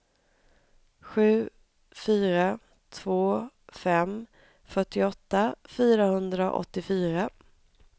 sju fyra två fem fyrtioåtta fyrahundraåttiofyra